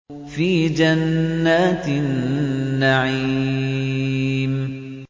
فِي جَنَّاتِ النَّعِيمِ